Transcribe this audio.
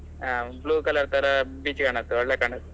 ಹಾ blue colour colour beach ಒಳ್ಳೆ ಕಾಣತ್ತೆ.